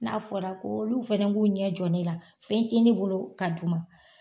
N'a fɔra ko olu fɛnɛ b'u ɲɛ jɔ ne la fɛn tɛ ne bolo ka d'u ma.